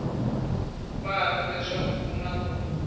patu leswaku ku na ku